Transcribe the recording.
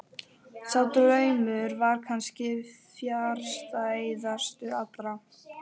Sá draumur var kannski fjarstæðastur allra.